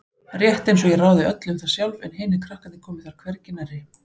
Rétt einsog ég ráði öllu um það sjálf en hinir krakkarnir komi þar hvergi nærri.